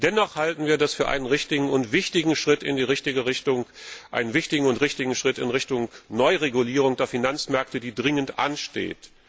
Dennoch halten wir das für einen richtigen und wichtigen Schritt in die richtige Richtung, einen wichtigen und richtigen Schritt in Richtung Neuregulierung der Finanzmärkte, die dringend ansteht.